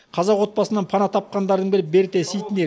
қазақ отбасынан пана тапқандардың бірі берте ситнер